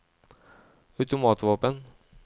automatvåpen